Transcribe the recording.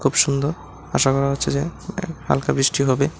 খুব সুন্দর আশা করা হচ্ছে যে হ্যাঁ হালকা বৃষ্টি হবে।